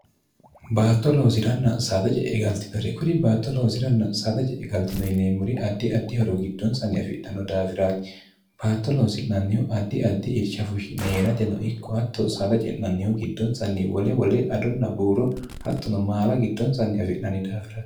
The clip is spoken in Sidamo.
baatto loosiranna saada ce'e galtinore kuri baatto loosiranna saada ce'e galtino yineemmuri addi addi horo giddoonsanni afidhanno daafiraati baatto loosi'nannihu addi addi irshafushi neerate no ikko hatto saada ce'nannihu giddonsanni wole wole adonna buuro hattono maala giddonsanni afi'nanni daafiri